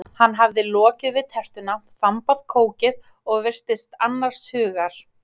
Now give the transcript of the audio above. Hann hafði lokið við tertuna, þambaði kókið og virtist annars hugar.